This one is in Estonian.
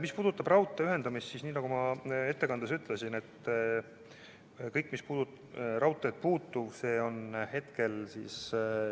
Mis puudutab raudtee ühendamist, siis nagu ma ettekandes ütlesin: kõik, mis puudutab raudteed, on hetkel selgitamisel.